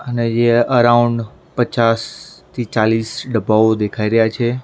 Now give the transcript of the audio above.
અને યે અરાઉન્ડ પચાસ થી ચાલીસ ડબ્બાઓ દેખાય રહ્યા છે.